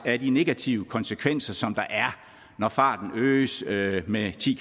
af de negative konsekvenser som der er når farten øges med ti